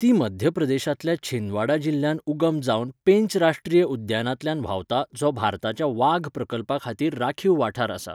ती मध्यप्रदेशांतल्या छिंदवाड़ा जिल्ह्यांत उगम जावन पेंच राश्ट्रीय उद्यानांतल्यान व्हांवता जो भारताच्या वाघ प्रकल्पाखातीर राखीव वाठार आसा.